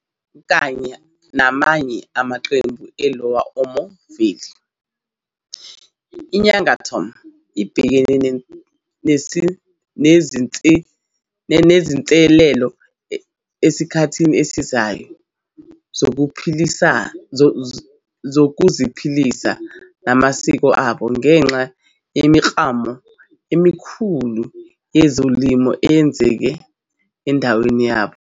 Kanye namanye amaqembu eLower Omo Valley, iNyangatom ibhekene nezinselelo esikhathini esizayo sokuziphilisa namasiko abo ngenxa yemiklamo emikhulu yezolimo eyenzeka endaweni yabo.